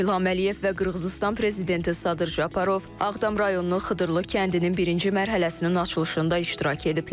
Prezident İlham Əliyev və Qırğızıstan Prezidenti Sadır Japarov Ağdam rayonunun Xıdırlı kəndinin birinci mərhələsinin açılışında iştirak ediblər.